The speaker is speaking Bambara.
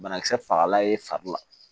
Banakisɛ fagala ye fari la